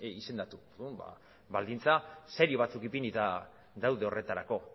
izendatu baldintza serio batzuk ipinita daude horretarako